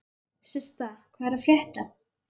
Systa, hvað er að frétta?